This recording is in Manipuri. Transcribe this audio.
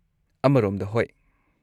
ꯑꯃꯔꯣꯝꯗ, ꯍꯣꯏ꯫